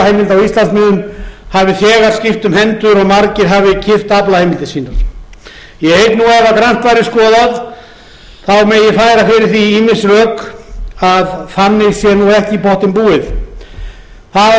aflaheimilda á íslandsmiðum hafi þegar skipt um hendur og margir hafi keypt aflaheimildir sínar ég hygg að ef grannt væri skoðað megi færa fyrir því ýmis rök að þannig sé ekki í pottinn búið það hefur vissulega verið